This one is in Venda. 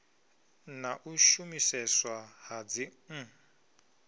na u shumiseswa ha dzin